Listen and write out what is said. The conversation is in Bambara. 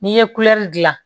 N'i ye dilan